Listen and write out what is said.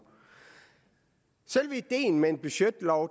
selve ideen med en budgetlov